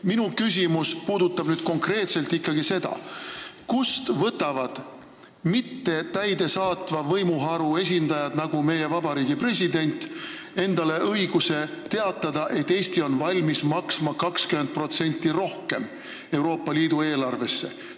Minu küsimus on konkreetselt ikkagi selle kohta, kust võtavad mittetäidesaatva võimuharu esindajad, nagu meie vabariigi president, endale õiguse teatada, et Eesti on valmis maksma 20% rohkem Euroopa Liidu eelarvesse.